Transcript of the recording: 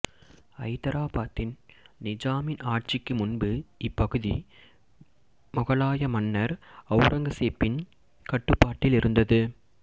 ஐதராபாத்தின் நிஜாமின் ஆட்சிக்கு முன்பு இப்பகுதி முகலாய மன்னர் ஔரங்கசீப்பின் கட்டுப்பாட்டில் இருந்தது